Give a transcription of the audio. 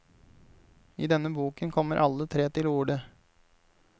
I denne boken kommer alle tre til orde.